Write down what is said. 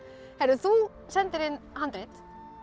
þú sendir inn handrit